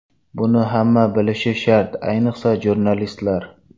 Buni hamma bilish shart, ayniqsa jurnalistlar.